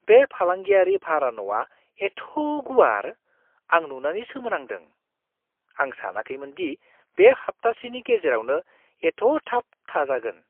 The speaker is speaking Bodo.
बे फालांगियारि भारा न'आ एथ' गुवार, आं नुनानै सोमोनांदों! आं सानाखैमोन दि बे हाप्तासेनि गेजेरावनो एथ' थाब थाजागोन!